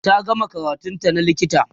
ta gama karatun ta na likita